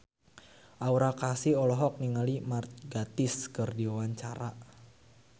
Aura Kasih olohok ningali Mark Gatiss keur diwawancara